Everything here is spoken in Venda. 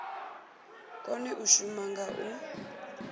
kone u shuma nga u